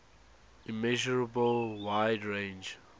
immeasurable wide range